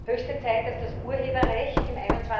Höchste Zeit, dass das Urheberrecht im